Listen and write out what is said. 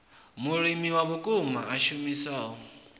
mulimi wa vhukuma a shumisaho